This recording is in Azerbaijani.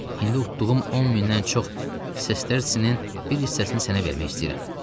İndi utduğum on mindən çox sestersinin bir hissəsini sənə vermək istəyirəm.